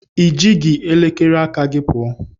I ji gị elekere aka gị pụọ.